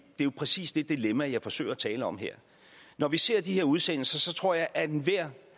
jo præcis det dilemma jeg forsøger at tale om her når vi ser de her udsendelser tror jeg at enhver